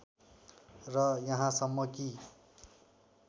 र यहाँसम्म कि